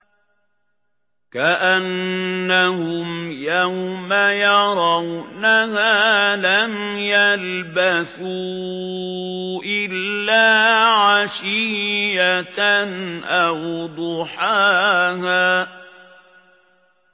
كَأَنَّهُمْ يَوْمَ يَرَوْنَهَا لَمْ يَلْبَثُوا إِلَّا عَشِيَّةً أَوْ ضُحَاهَا